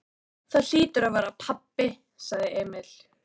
Það hlýtur að vera pabbi, sagði Emil.